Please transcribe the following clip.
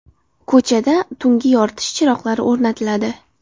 Ko‘chada tungi yoritish chiroqlari o‘rnatiladi.